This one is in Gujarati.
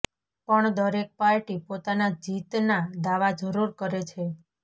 પણ દરેક પાર્ટી પોતાના જીતના દાવા જરૂર કરે છે